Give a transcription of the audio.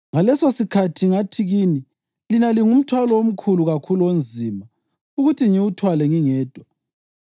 “Ngalesosikhathi ngathi kini, ‘Lina lingumthwalo omkhulu kakhulu onzima ukuthi ngiwuthwale ngingedwa.